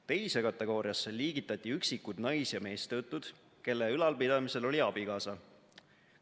Teise kategooriasse liigitati üksikud nais- ja meestöötud, kelle ülalpidamisel oli abikaasa.